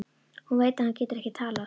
Hún veit að hann getur ekki talað.